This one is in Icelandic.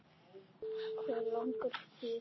Hvað langar þig í!